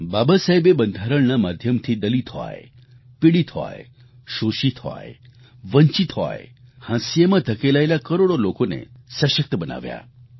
બાબા સાહેબે બંધારણના માધ્યમથી દલિત હોય પીડિત હોય શોષિત હોય વંચિત હોય હાંસિયામાં ધકેલાયેલા કરોડો લોકોને સશક્ત બનાવ્યા